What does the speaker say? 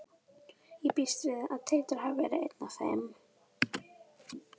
Ég býst við að Teitur hafi verið einn af þeim.